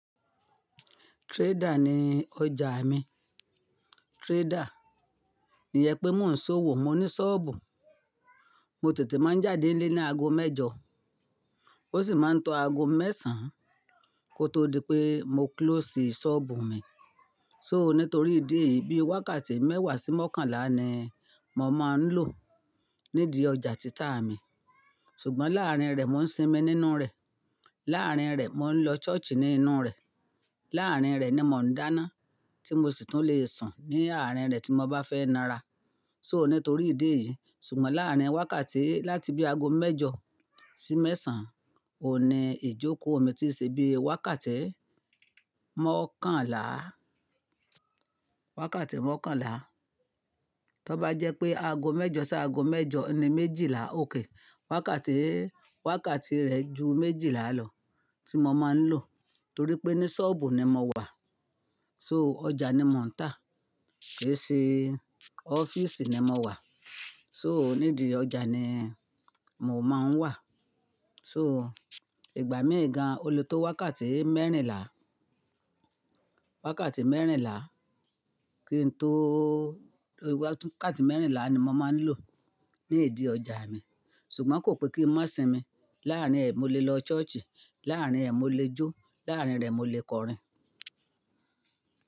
Trader ni ọjà mi. Trader. Iyẹn pé mo ń ṣòwò, mo ní sọ́ọ̀bù. Mo tètè máa ń jáde nílé ní ago mẹ́jọ, ó sì máa ń tọ́ ago mẹ́sàn kó tó di pé mo close sọ́ọ̀bù mi. So nítorí ìdí èyí bí wákàtí mẹ́wàá sí mọ́kànlá ni mo máa ń lò nídi ọjà títà mi. Ṣùgbọ́n láàárín rẹ̀ mo ń sinmi nínú rẹ̀. Láàárín rẹ̀ mo ń lọ ṣọ́ọ̀ṣì nínú rẹ̀. Láàárín rẹ̀ ni mo ń dáná tí mo sì tún lè sùn ní àárín rẹ̀ tí mo bá fẹ́ nára. So nítorí ìdí èyí. Ṣùgbọ́n láàárín wákàtí láti bí ago mẹ́jọ sí mẹ́sàn, oun ní ijoko mi tí ì ṣe bí i wákàtí mọ́kànlá, wákàtí mọ́kànlá. Tọ bá jẹ́ pé ago mẹ́jọ ṣáago mẹ́jọ ni méjìlá, okay. Wákàtí, wákàtí rẹ̀ ju méjìlá lọ tí mo máa ń lò torí pé ní sọ́ọ̀bù ni mo wà. So ọjà ni mò ń tà, kì í ṣe ọ́fíísì ni mo wà. So nídìí ọjà ni mo máa ń wà. So ìgbà mi gan, o le tọ́ wákàtí mẹ́rìnlá, wákàtí mẹ́rìnlá kí n tó-- wákàtí mẹ́rìnlá ni mo máa ń lò nídi ọjà mi. Ṣùgbọ́n kò pé kí n má sinmi. Láàárín ẹ̀ mo lè lọ ṣọ́ọ̀ṣì, láàárín ẹ̀ mo lè jó, láàárín rẹ̀ mo lè kọrin.